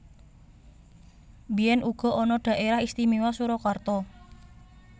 Biyèn uga ana Dhaérah Istiméwa Surakarta